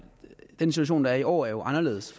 den situation der er i år er jo anderledes